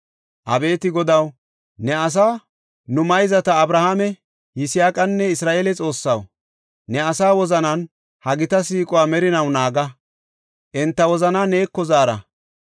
Abeeti Godaw, nu mayzata Abrahaame, Yisaaqanne Isra7eele Xoossaw, ne asaa wozanan ha gita siiquwa merinaw naaga; enta wozanaa neeko zaara.